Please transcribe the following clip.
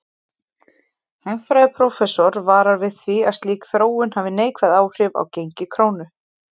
Hagfræðiprófessor varar við því að slík þróun hafi neikvæð áhrif á gengi krónu.